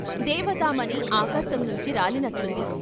దేవతామణి ఆకాశంనుంచి రాలినట్లుంది.